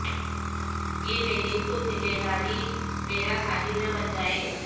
یہ میری خود نگہداری مرا ساحل نہ بن جائے